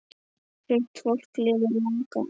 Sumt fólk lifir langa ævi.